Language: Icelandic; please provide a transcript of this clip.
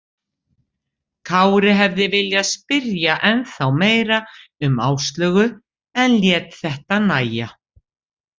Kári hefði viljað spyrja ennþá meira um Áslaugu en lét þetta nægja.